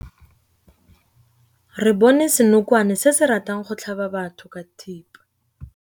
Re bone senokwane se se ratang go tlhaba batho ka thipa.